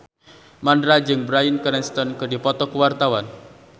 Mandra jeung Bryan Cranston keur dipoto ku wartawan